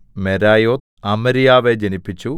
മെരായോത്ത് അമര്യാവെ ജനിപ്പിച്ചു